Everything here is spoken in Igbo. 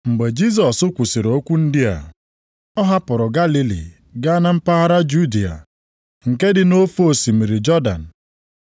Mgbe Jisọs kwusiri okwu ndị a, o hapụrụ Galili gaa na mpaghara Judịa, nke dị nʼofe osimiri Jọdan.